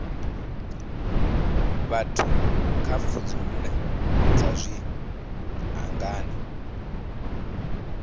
vhathu kha pfudzungule dza zwiṱangani